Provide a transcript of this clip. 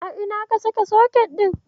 A ina ka saka soket ɗin?